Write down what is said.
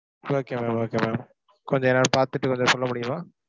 okay ma'am, okay ma'am. கொஞ்சம் பார்த்துட்டு வந்து சொல்ல முடியுமா?